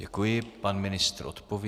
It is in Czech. Děkuji, pan ministr odpoví.